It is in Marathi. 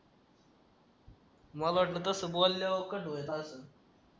मला वाटलं तसं बोल्यावर कसा हव्याच असेल